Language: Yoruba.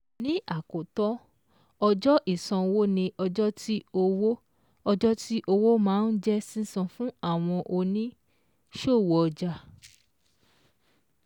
Lákòótán, ọjọ́ ìṣanwó ni ọjọ́ tí owó ọjọ́ tí owó maa ń jẹ́ sísan fún àwọn òní-ṣòwò ọjà